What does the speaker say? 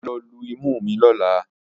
Mà á lọ lu imú mi lọ́la